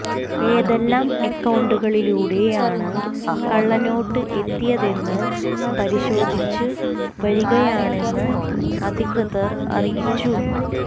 ഏതെല്ലാം അക്കൌണ്ടുകളിലൂടെ യാണ് കള്ള നോട്ട് എത്തിയതെന്ന് പരിശോധിച്ച് വരികയാണെന്ന് അധികൃതർ അറിയിച്ചു